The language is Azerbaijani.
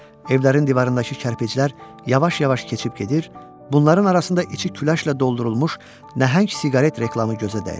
Evlərin divarındakı kərpiclər yavaş-yavaş keçib gedir, bunların arasında içi küləşlə doldurulmuş nəhəng siqaret reklamı gözə dəyirdi.